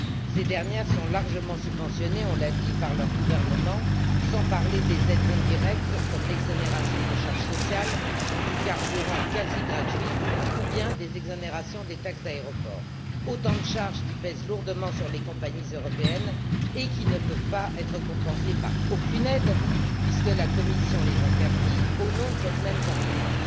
Ces dernières sont largement subventionnées on l'a dit par leurs gouvernements, sans parler des aides indirectes, comme l'exonération de charges sociales, du carburant quasi gratuit ou bien des exonérations des taxes d'aéroport, autant de charges qui pèsent lourdement sur les compagnies européennes et qui ne peuvent être compensées par aucune aide, puisque la Commission les interdit au nom de cette même concurrence.